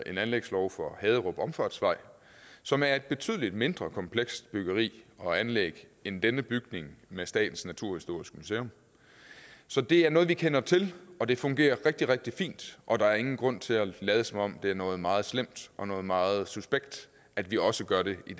en anlægslov for haderup omfartsvej som er et betydelig mindre komplekst byggeri og anlæg end denne bygning af statens naturhistoriske museum så det er noget vi kender til og det fungerer rigtig rigtig fint og der er ingen grund til at lade som om det er noget meget slemt og noget meget suspekt at vi også gør det i